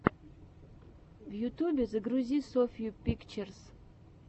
в ютьюбе загрузи софью пикчерз